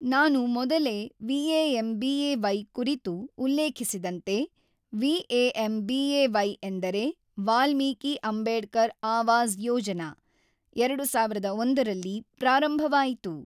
ನಾನು ಮೊದಲೇ ವಿ.ಏ.ಎಮ್.ಬಿ.ಏ.ವೈ ಕುರಿತು ಉಲ್ಲೇಖಿಸಿದಂತೆ ವಿ.ಏ.ಎಮ್.ಬಿ.ಏ.ವೈ ಎಂದರೆ ವಾಲ್ಮೀಕಿ ಅಂಬೇಡ್ಕರ್ ಆವಾಸ್ ಯೋಜನಾ ೨೦೦೧ ರಲ್ಲಿ ಪ್ರಾರಂಭವಾಯಿತು.